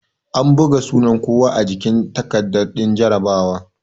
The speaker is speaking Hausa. An buga sunan kowa a jikin takarda din jarabawa